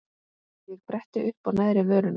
Ég bretti uppá neðri vörina.